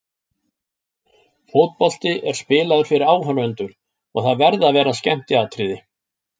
Fótbolti er spilaður fyrir áhorfendur og það verða að vera skemmtiatriði.